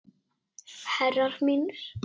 Herrar mínir.